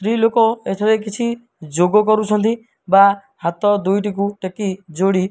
ସ୍ତ୍ରୀ ଲୋକ ଏଠାରେ କିଛି ଯୋଗ କରୁଛନ୍ତି ବା ହାତ ଦୁଇ ଟି କୁ ଟେକି ଯୋଡ଼ି --